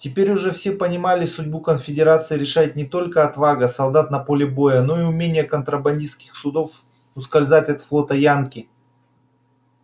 теперь уже все понимали судьбу конфедерации решает не только отвага солдат на поле боя но и умение контрабандистских судов ускользать от флота янки